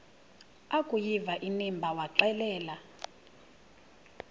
akuyiva inimba waxelela